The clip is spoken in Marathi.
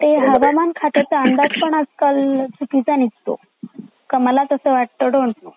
ते हवामान ख्यातच अंदाज पण आजकाल चुकीचा निघतो. का मालाचा असा वाटतं डोन्ट नो